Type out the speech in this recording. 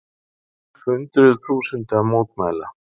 Hundruð þúsunda mótmæla